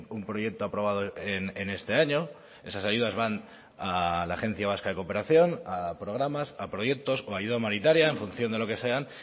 un proyecto aprobado en este año esas ayudas van a la agencia vasca de cooperación a programas a proyectos o a ayuda humanitaria en función de lo que sean